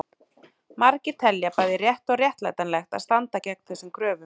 Margir telja bæði rétt og réttlætanlegt að standa gegn þessum kröfum.